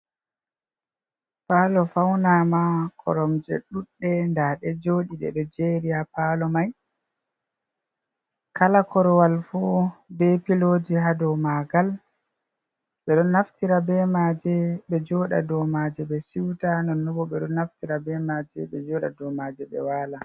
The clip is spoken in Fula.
Paalo faunama koromje ɗudɗe nda ɗe jooɗi ɗe ɗo jeeri ha paalo mai, kala Korowal fu be pilooji ha dou maagal, ɓe ɗon naftira be maaje ɓe jooɗa do maaje ɓe siuta non nonbo ɓe ɗon naftira be maaje ɓe jooɗa do maaje ɓe waala.